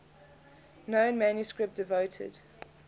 known manuscript devoted